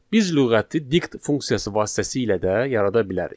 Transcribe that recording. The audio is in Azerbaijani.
Biz lüğəti dict funksiyası vasitəsilə də yarada bilərik.